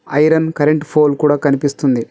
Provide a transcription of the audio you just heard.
Iron current ఫోల్లు కూడా కనిపిస్తుంది.